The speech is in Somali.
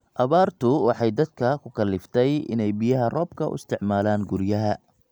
Abaartu waxay dadka ku kalliftay inay biyaha roobka u isticmaalaan guryaha.